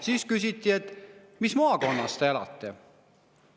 Siis küsiti: "Mis maakonnas te elate?